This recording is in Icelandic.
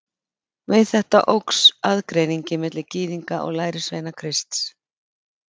Við þetta óx aðgreiningin milli Gyðinga og lærisveina Krists.